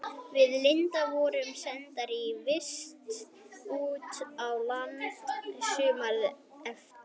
Við Linda vorum sendar í vist út á land sumarið eftir.